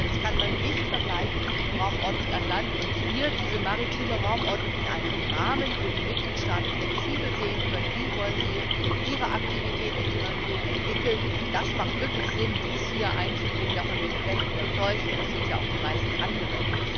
Ich denke, das kann man nicht vergleichen, die Raumordnung an Land und hier diese maritime Raumordnung in einem Rahmen, wo die Mitgliedstaaten flexibel sehen können, wie sie ihre Aktivität in ihrer Region entwickeln wollen. Es ist wirklich sinnvoll, dies hier einzubringen, davon bin ich fest überzeugt, und das sind ja auch die meisten anderen.